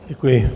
Děkuji.